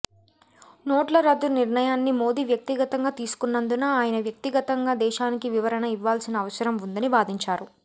నోట్ల రద్దు నిర్ణయాన్ని మోదీ వ్యక్తిగతంగా తీసుకున్నందున ఆయన వ్యక్తిగతంగా దేశానికి వివరణ ఇవ్వాల్సిన అవసరం ఉందని వాదించారు